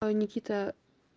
никита